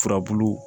Furabulu